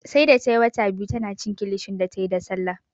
Sai da tayi wata biyu tana cin kilishi da tayi da Sallah